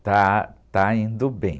Está, está indo bem.